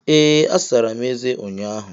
Ee, asara m eze m ụnyaahụ